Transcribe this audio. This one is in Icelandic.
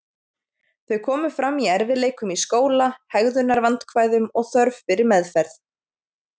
Þau komu fram í erfiðleikum í skóla, hegðunarvandkvæðum og þörf fyrir meðferð.